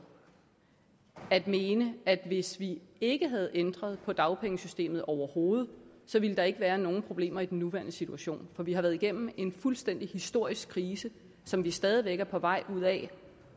at mene at hvis vi ikke havde ændret på dagpengesystemet overhovedet så ville der ikke være nogen problemer i den nuværende situation for vi har været igennem en fuldstændig historisk krise som vi stadig væk er på vej ud af